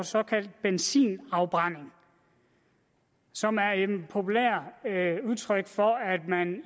såkaldte benzinafbrænding som er et populært udtryk for at man